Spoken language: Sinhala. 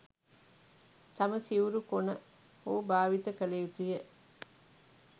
තම සිවුරු කොන හෝ භාවිත කළ යුතුය.